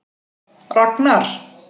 Ragnar